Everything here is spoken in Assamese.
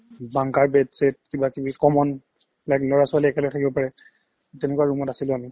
bunker bed set কিবাকিবি common like ল'ৰা-ছোৱালী একেলগে খেলিব পাৰে তেনেকুৱা room ত আছিলো আমি